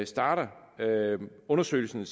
starter undersøgelsen